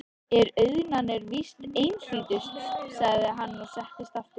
En auðnan er víst einhlítust, sagði hann og settist aftur.